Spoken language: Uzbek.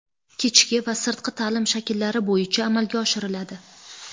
kechki va sirtqi taʼlim shakllari bo‘yicha amalga oshiriladi.